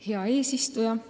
Hea eesistuja!